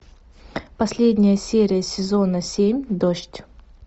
последняя серия сезона семь дождь